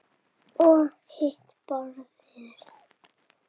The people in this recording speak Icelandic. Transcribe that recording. Og hitt borðið?